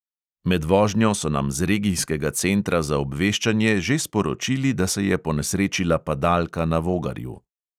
Med vožnjo so nam z regijskega centra za obveščanje že sporočili, da se je ponesrečila padalka na vogarju.